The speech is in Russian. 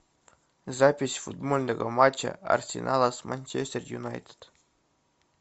запись футбольного матча арсенала с манчестер юнайтед